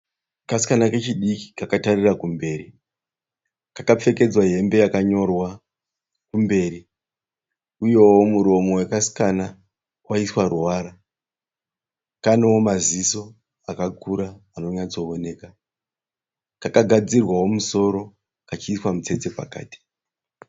Kasikana kechidki kakatarira kumberi kakapfekedzwa hembe yakanyorwa kumberi uyewo muromo wekasikana wakaiswa ruvara kanewo maziso akakura anonyatsooneka kakagadzirwawo musoro kachiiswa mutsetse pakati.